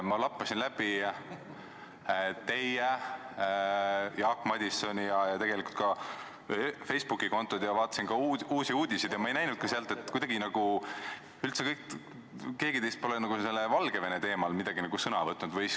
Ma lappasin läbi teie ja Jaak Madisoni Facebooki kontod ja vaatasin ka Uusi Uudiseid ja ma ei näinud seal, et keegi teist oleks Valgevene teemal sõna võtnud.